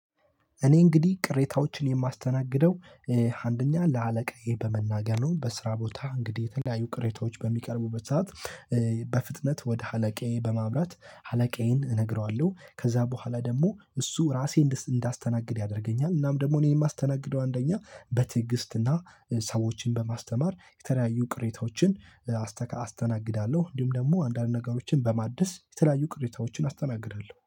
እኔ እንግዲህ ቅሬታዎችን የማስተናግደው አንደኛ ለአለቃዬ በመናገር ነው። በስራ ቦታ እንግዲህ የተለያዩ ቅሬታዎች በሚቀርቡበት ሰዓት። በፍጥነት ወደ አለቃዬ በማብራት አለቃዬን እነግረዋለው ከዛ በኋላ ደግሞ እሱ ራሴን እንዳስተናግድ ያደርገኛል። እናም ደግሞ እኔን የማስተናግደው አንደኛ በትዕግስትና ሰዎችን በማስተማር የተለያዩ ቅሬታዎችን አስተናግዳለው። እንዲሁም ደግሞ አንዳንድ ነገሮችን በማደስ የተለያዩ ቅሬታዎችን አስተናግዳለው